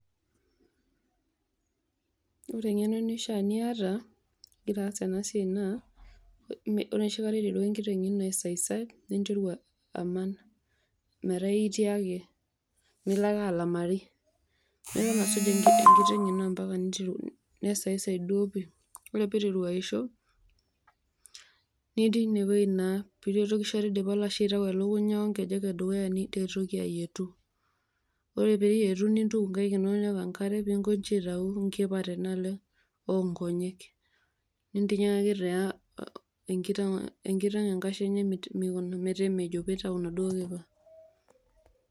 Ore eng'eno neishiaa niyata igira aas ena siai naa ore noshikata eiterua enkiteng ino asaisai, ninteru aman metaa itii ake miloake alamari niloake asuj enkiteng' ino mpaka neiteru nesaisai duo pii, ore peiteru aisho nitii inewuei naa piireroki noshikata eidipa olashe aitayu elukunya onkejek edukuya niretoki ayietu. Ore piiyetu nintuki inkaik inono niyau enkare peeinkonji aitau nkipa tenaalo onkonyek, nintinyikaki taa enkiteng' enkashe enye meikuna metemejo peitau naduo kipa.